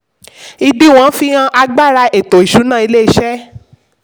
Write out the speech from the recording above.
ìdíwọ̀n fi hàn agbára ètò ìsúná ilé-iṣẹ́.